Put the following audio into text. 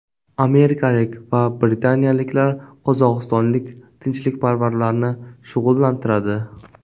Amerikalik va britaniyaliklar qozog‘istonlik tinchlikparvarlarni shug‘ullantiradi.